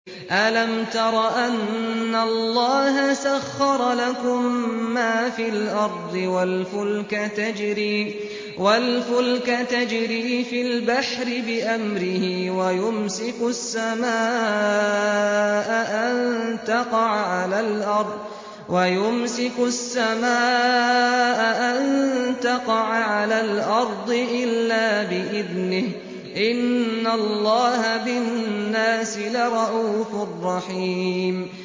أَلَمْ تَرَ أَنَّ اللَّهَ سَخَّرَ لَكُم مَّا فِي الْأَرْضِ وَالْفُلْكَ تَجْرِي فِي الْبَحْرِ بِأَمْرِهِ وَيُمْسِكُ السَّمَاءَ أَن تَقَعَ عَلَى الْأَرْضِ إِلَّا بِإِذْنِهِ ۗ إِنَّ اللَّهَ بِالنَّاسِ لَرَءُوفٌ رَّحِيمٌ